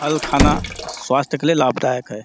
फल खाना स्वास्थ्य के लिए लाभदायक है।